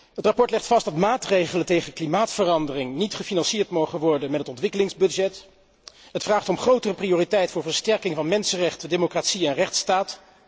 Het verslag legt vast dat maatregelen tegen klimaatverandering niet gefinancierd mogen worden met het ontwikkelingsbudget. Het vraagt om grotere prioriteit voor versterking van mensenrechten, democratie en rechtsstaat.